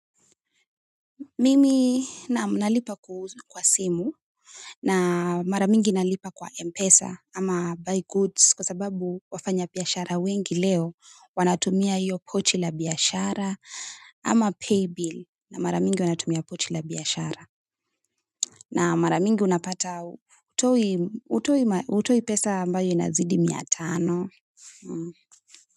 Mimi naam nalipa kwa simu na mara mingi nalipa kwa Mpesa ama buy goods kwa sababu wafanyabiashara wengi leo wanatumia hiyo pochi la biashara ama paybill na mara mingi wanatumia pochi la biashara na mara mingi unapata hutoi hutoi pesa ambayo inazidi mia tano.